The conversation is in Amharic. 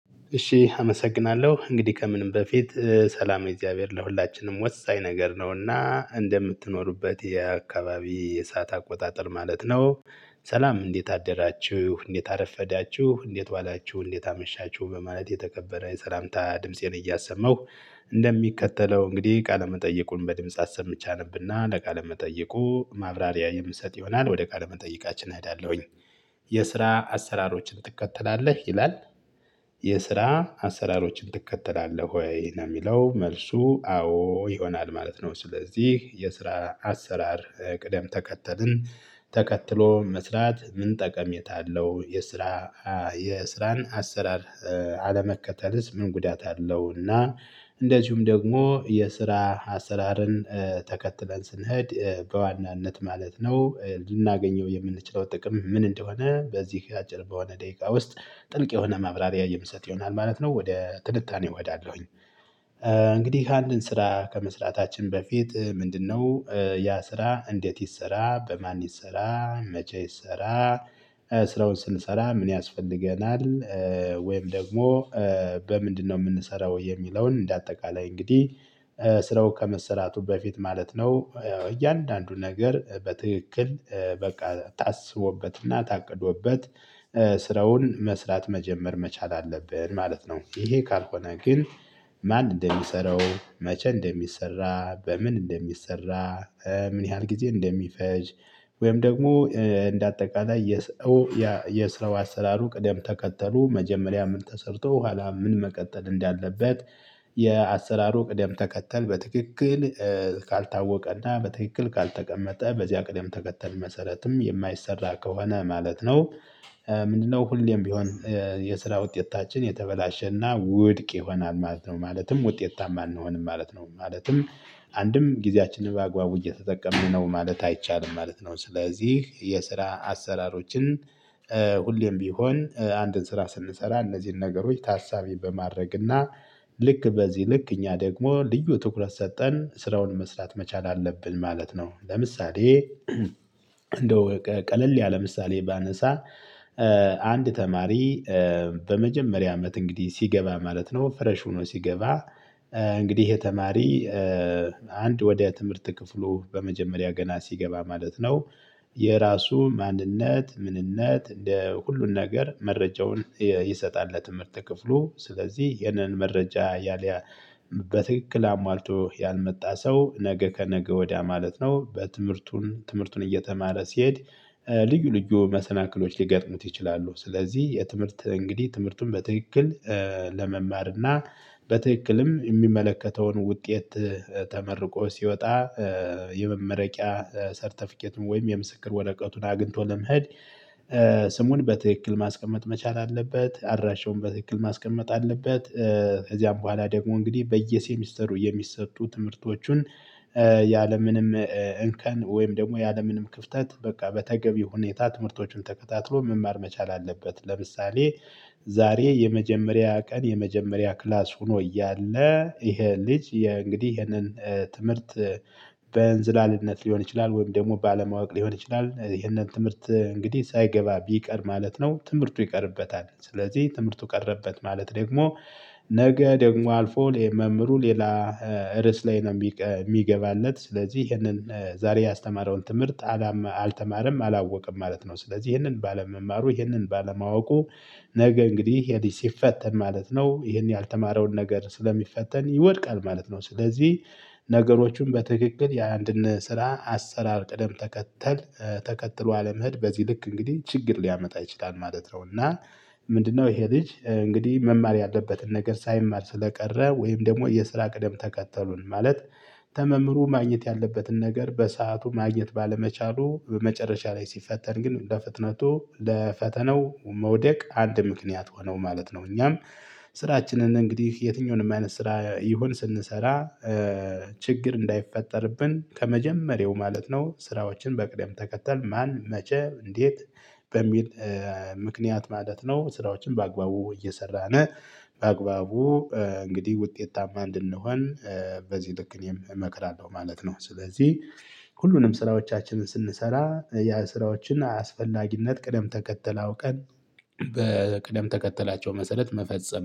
እሺ አመሰግናለሁ እንግዲህ ከምንም በፊት ሰላም የእግዚአብሔር ለሁላችንም ወሳኝ ነገር ነውና እንደምትኖሩበት የአካባቢ የሰዓት አቆጣጠር ማለት ነው። ሰላም እንዴት አደራችሁ እንዴት አረፈዳችሁ እንዴት ዋላችሁ እንዴት አመሻችሁ በማለት የተከበረ የሰላምታ ድምፄን እያሰመሁ እንደሚከተለው እንግዲህ ቃለመጠየቁን በድምፃ አሰምቼ አነብና ለቃለመጠይቁ ማብራሪያ የምሰጥ ይሆናል ወደ ቃለመጠይቃችን እሄዳለሁኝ። የስራ አሰራሮችን ትከተላለህ ይላል። የስራ አሰራሮችን ትከተላለህ ወይ? ነው የሚለው መልሱ አዎ ይሆናል ማለት ነው። ስለዚህ የስራ አሰራር ቅደም ተከተልን ተከትሎ መስራት ምን ጠቀሜታ አለው? የስራ የስራን አሰራር አለመከተልስ? ምን ጉዳት አለውና? እንደዚሁም ደግሞ የስራ አሰራርን ተከትለን ስንሄድ በዋናነት ማለት ነው ልናገኘው የምንችለው ጥቅም ምን እንደሆነ በዚህ አጭር በሆነ ደቂቃ ውስጥ ጥልቅ የሆነ ማብራሪያ የምሰጥ ይሆናል ማለት ነው ወደ ትንታኔ እሄዳለሁኝ። እንግዲህ አንድን ስራ ከመስራታችን በፊት ምንድነው? ያ ስራ እንዴት ይሰራ በማን ይሰራ መቼ ይሰራ ስራውን ስንሰራ ምን ያስፈልገናል? ወይም ደግሞ በምንድነው የምንሰራው የሚለውን እንደ አጠቃላይ እንግዲህ ስራው ከመሰራቱ በፊት ማለት ነው እያንዳንዱ ነገር በትክክል በቃ ታስቦበትና ታቅዶበት ስራውን መስራት መጀመር መቻል አለብን ማለት ነው። ይሄ ካልሆነ ግን ማን እንደሚሰራው መቼ እንደሚሰራ በምን እንደሚሰራ ምን ያህል ጊዜ እንደሚፈጅ? ወይም ደግሞ እንደ አጠቃላይ የ የስራው አሰራሩ ቅደም ተከተሉ መጀመሪያ ምን ተሰርቶ ኋላ ምን መቀጠል እንዳለበት? የአሰራሩ ቅደም ተከተል በትክክል ካልታወቀና በትክክል ካልተቀመጠ በዚያ ቅደም ተከተል መሰረትም የማይሰራ ከሆነ ማለት ነው። ምንድነው ሁሌም ቢሆን? የስራ ውጤታችን የተበላሸና ውድቅ ይሆናል ማለት ነው። ማለትም ውጤታማ አንሆንም ማለት ነው። ማለትም አንድም ጊዜያችንን በአግባቡ እየተጠቀምን ነው ማለት አይቻልም ማለት ነው። ስለዚህ የስራ አሰራሮችን ሁሌም ቢሆን አንድን ስራ ስንሰራ እነዚህን ነገሮች ታሳቢ በማድረግ እና ልክ በዚህ ልክ እኛ ደግሞ ልዩ ትኩረት ሰጠን ስራውን መስራት መቻል አለብን ማለት ነው። ለምሳሌ እንደው ቀለል ያለ ምሳሌ ባነሳ። አንድ ተማሪ በመጀመሪያ አመት እንግዲህ ሲገባ ማለት ነው ፍረሽ ሆኖ ሲገባ እንግዲህ የተማሪ አንድ ወደ ትምህርት ክፍሉ በመጀመሪያ ገና ሲገባ ማለት ነው። የራሱ ማንነት ምንነት እንደ ሁሉን ነገር መረጃውን ይሰጣል ለትምህርት ክፍሉ ስለዚህ ይንን መረጃ ያሊያ በትክክል አሟልቶ ያልመጣ ሰው ነገ ከነገ ወዲያ ማለት ነው በትምህርቱን ትምህርቱን እየተማረ ሲሄድ ልዩ ልዩ መሰናክሎች ሊገጥሙት ይችላሉ። ስለዚህ የትምህርት እንግዲህ ትምህርቱን በትክክል ለመማር እና በትክክልም የሚመለከተውን ውጤት ተመርቆ ሲወጣ የመመረቂያ ሰርተፊኬትም ወይም የምስክር ወረቀቱን አግኝቶ ለመሄድ። ስሙን በትክክል ማስቀመጥ መቻል አለበት አድራሻውን በትክክል ማስቀመጥ አለበት። ከዚያም በኋላ ደግሞ እንግዲህ በየሴሚስተሩ የሚሰጡ ትምህርቶቹን ያለምንም እንከን ወይም ደግሞ ያለምንም ክፍተት በቃ በተገቢ ሁኔታ ትምህርቶችን ተከታትሎ መማር መቻል አለበት። ለምሳሌ ዛሬ የመጀመሪያ ቀን የመጀመሪያ ክላስ ሆኖ እያለ ይሄ ልጅ እንግዲህ ይሄንን ትምህርት በእንዝላልነት ሊሆን ይችላል ወይም ደግሞ ባለማወቅ ሊሆን ይችላል ይህንን ትምህርት እንግዲህ ሳይገባ ቢቀር ማለት ነው። ትምህርቱ ይቀርበታል ስለዚህ ትምህርቱ ቀረበት ማለት ደግሞ ነገ ደግሞ አልፎ መምህሩ ሌላ ርዕስ ላይ ነው የሚገባለት ስለዚህ ይሄንን ዛሬ ያስተማረውን ትምህርት አላማ አልተማረም አላወቀም ማለት ነው። ስለዚህ ይህንን ባለመማሩ ይህንን ባለማወቁ ነገ እንግዲህ ይሄ ልጅ ሲፈተን ማለት ነው ይህን ያልተማረውን ነገር ስለሚፈተን ይወድቃል ማለት ነው። ስለዚህ ነገሮቹም በትክክል የአንድን ስራ አሰራር ቅደም ተከተል ተከትሎ አለመሄድ በዚህ ልክ እንግዲህ ችግር ሊያመጣ ይችላል ማለት ነው። እና ምንድነው ይሄ ልጅ እንግዲህ መማር ያለበትን ነገር ሳይማር ስለቀረ ወይም ደግሞ የስራ ቅደም ተከተሉን ማለት ተመምሩ ማግኘት ያለበትን ነገር በሰአቱ ማግኘት ባለመቻሉ በመጨረሻ ላይ ሲፈተን ግን ለፍጥነቱ ለፈተነው መውደቅ አንድ ምክንያት ሆነው ማለት ነው። እኛም ስራችንን እንግዲህ የትኛውንም አይነት ስራ ይሁን ስንሰራ። ችግር እንዳይፈጠርብን ከመጀመሪያው ማለት ነው ስራዎችን በቅደም ተከተል ማን መቼም እንዴት በሚል ምክንያት ማለት ነው። ስራዎችን በአግባቡ እየሰራን በአግባቡ እንግዲህ ውጤታማ እንድንሆን በዚህ ልክ እኔም እመክራለሁ ማለት ነው። ስለዚህ ሁሉንም ስራዎቻችንን ስንሰራ ያ ስራዎችን አስፈላጊነት ቅደም ተከተል አውቀን ቀን በቅደም ተከተላቸው መሰረት መፈጸም